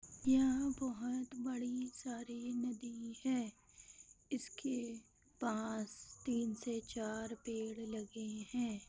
यहाँ बहुत बड़ी सारी नदी है इसके पास तीन से चार पेड़ लगे हैं।